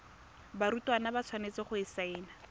barutwana ba tshwanetse go saena